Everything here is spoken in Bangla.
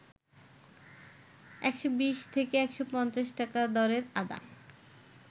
১২০ থেকে ১৫০ টাকা দরের আদা